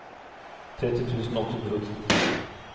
tretti tusen åtte hundre og ti